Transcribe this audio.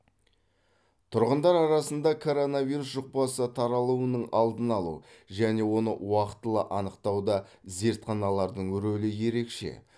тұрғындар арасында коронавирус жұқпасы таралуының алдын алу және оны уақтылы анықтауда зертханалардың рөлі ерекше